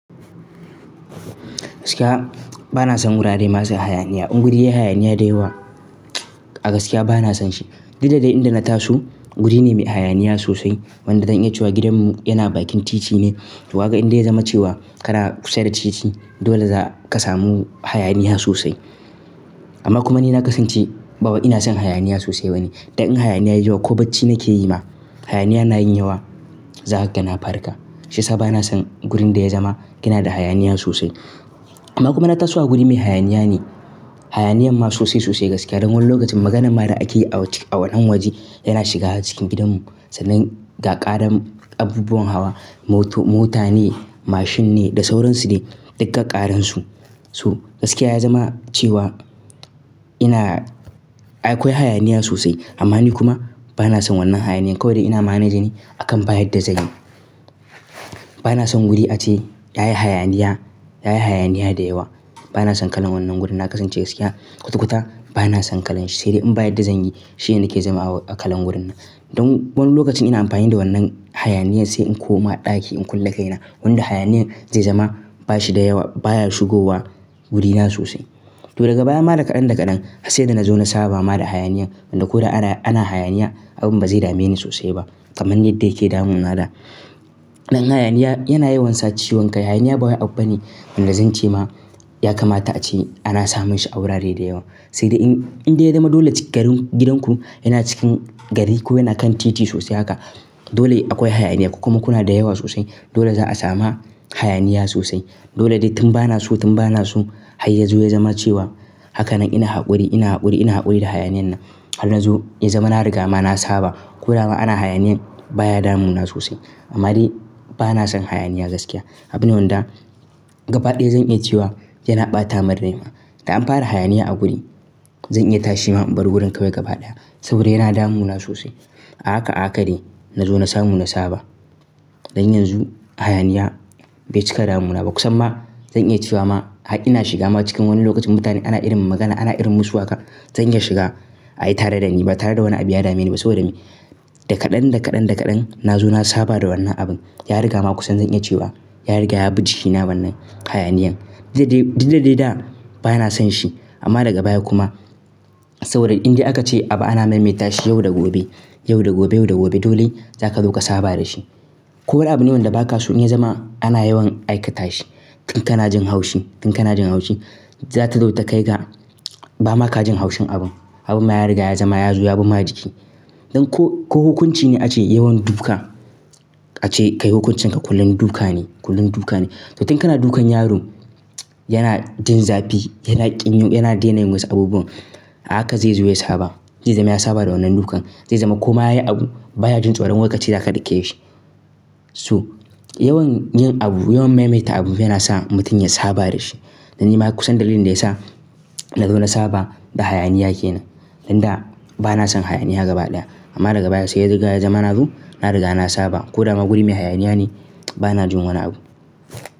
Gaskiya bana son wurare masu hayaniya. In guri yayi hayaniya da yawa a gaskiya bana son shi. Dukada dai inda na taso guri ne mai hayaniya sosai. Wanda zan iya cewa gidanmu yana bakin titi ne. To haka inda ya zama cewa kana kusa da titi dole za ka samu hayaniya sosai. Amma kuma ni na kasance bawai ina son hayaniya sosai bane. Dan in hayaniya yayi yawa ko bacci nake yi ma hayaniya na yin yawa, za kaga na farka. Shiyasa bana son gurin da ya zama yana da hayaniya sosai. Amma kuma na taso a guri mai hayaniya ne. Hayaniyan ma sosai sosai gaskiya don wani lokacin maganan ma da ake yi a wannan waje yana shiga har cikin gidanmu. Sannan ga ƙarar abubuwan hawa, mota ne, mashin ne da sauransu ne dukkan ƙararsu. So gaskiya ya zama cewa ina, akwai hayaniya sosai amma ni kuma bana son wannan hayaniyan. Kawai dau ina managing akan ba yadda zanyi. Bana son wuri ace yayi hayaniya, yayi hayaniya da yawa. Bana son kalan wannan wurin. Na kasance gaskiya kwata-kwata bana son kalan shi. Sai dai in baya da zanyi shine nake zama kalan wurin nan. Don wani lokacin ina amfani da wannan hayaniyan sai in koma ɗaki in kulle kai na. Wanda hayaniyan zai zama bashi da yawa baya shigowa gurina sosai. To daga baya ma da kaɗan da kaɗan har sai da na zo na saba ma da hayaniyan. Wanda ko da ana hayaniya abun ba zai dame ni sosai ba kaman yadda yake damu na da. Dan hayaniya yana yawan sa ciwon kai. Hayaniya bawai abu ne. Wanda zan ce ma ya kamata ace ana samun shi a wurare da yawa. Sai dai in inde ya zama dole gidan ku yana cikin gari ko yana kan titi sosai haka, dole akwai hayaniya ko kuma kuna da yawa sosai. Dole za a samu hayaniya sosai. Dole dai tun bana so, tun bana so har yazo ya zama cewa hakanan ina haƙuri ina haƙuri ina haƙuri da hayaniyan nan. Har na zo ya zama na riga ma na saba. Ko dama ana hayaniyan baya damu na sosai. Amma dai bana son hayaniya gaskiya. Abune wanda gaba ɗaya zan iya cewa yana ɓata marmari ma. Da an fara hayaniya a guri zan iya tashi ma in bar wurin kawai gaba ɗaya saboda yana damu na sosai. A haka a haka dai na zo na samu na saba. Don yanzu hayaniya bai cika damu na ba. Kusan ma zan iya cewa ma har ina shiga ma cikin wani lokacin mutane ana irin magana ana irin musu haka zan iya shiga ayi tare da ni ba tare da wani abu ya dame ni ba saboda me? Da kaɗan da kaɗan da kaɗan na zo na saba da wannan abun. Ya riga ma kusan zan iya cewa ya riga ya bi jikina wannan hayaniyan. Dukda dai da bana son shi amma daga baya kuma saboda inde aka ce abu ana maimaita shi yau da gobe, yau da gobe, yau da gobe dole za ka zo ka saba da shi. Ko wani abune wanda ba ka so in ya zama ana yawan aika ta shi. Tun kana jin haushi, tun kana jin haushi za ta zo ta kai ga ba ma ka jin haushin abun. Abun ma ya riga ya zama ya zo ya bi ma jiki. Don ko hukunci ne ace yawan duka ace kai hukuncin ka kullum duka ne, kullum duka ne. To tun kana dukan yaron yana jin zafi yana ƙin yin yana daina yin wasu abubuwan a haka zai zo ya saba. Zai zama ya saba da wannan dukan. Zai zama ko ma yayi abu baya jin tsoro. Wai kace za ka dake shi. So yawan yin abu, yawan maimaita abu yana sa mutum ya saba da shi. Dan ni ma kusan dalilin da ya sa na zo na saba da hayaniya ke nan. Dan da bana son hayaniya gaba ɗaya. Amma daga baya sai dai riga ya zama na zo na riga na saba. Ko dama guri mai hayaniya ne bana jin wani abu.